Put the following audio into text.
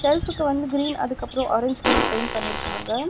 ஷெல்ஃபுக்கு வந்து கிரீன் அதுக்கப்றோ orange colour paint பண்ணிருக்காங்க.